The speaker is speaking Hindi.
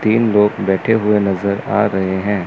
तीन लोग बैठे हुए नजर आ रहे हैं।